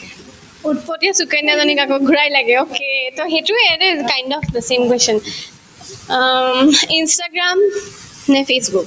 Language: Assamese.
উত্‍পতীয়া সুকন্যাজনীক আকৌ ঘূৰাই লাগে okay to সেইটোয়ে kind of অম্ instagram নে facebook